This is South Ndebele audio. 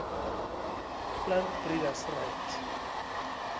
plant breeders right